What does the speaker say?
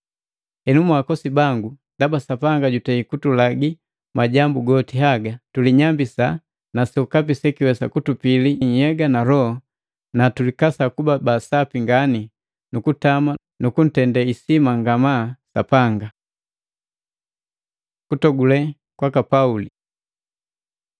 Henu mwaakosi bangu, ndaba Sapanga jutei kutulagi majambu goti haga, tulinyambisa na sokapi sekiwesa kutupili nhyega na loho na tulikasa kuba baasapi ngani nukutama nukuntende isima ngamaa Sapanga. Kutogule kwaka Pauli